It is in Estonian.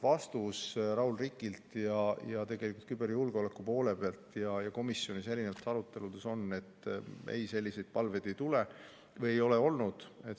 Vastus Raul Rikilt, küberjulgeoleku poole pealt ja komisjoni aruteludest on: ei, selliseid palveid ei tule või ei ole olnud.